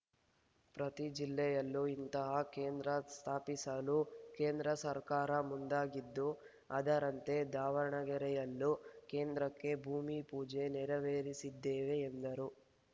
ಪ್ರತಿ ಜಿಲ್ಲೆಯಲ್ಲೂ ಇಂತಹ ಕೇಂದ್ರ ಸ್ಥಾಪಿಸಲು ಕೇಂದ್ರ ಸರ್ಕಾರ ಮುಂದಾಗಿದ್ದು ಅದರಂತೆ ದಾವಣಗೆರೆಯಲ್ಲೂ ಕೇಂದ್ರಕ್ಕೆ ಭೂಮಿಪೂಜೆ ನೆರವೇರಿಸಿದ್ದೇವೆ ಎಂದರು